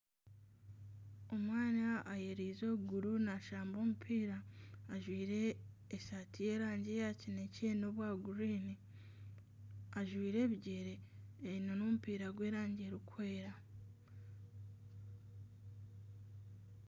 Omwana ayereize okuguru ariyo naashamba omupiira, ajwaire esaati y'erangi ya kinekye n'obwa kinyaatsi. Ajwaire ebigyere aine n'omupiira gw'erangi erikwera.